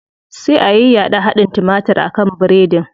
Sai a yayyaɗa hadin timatir a kan biredin.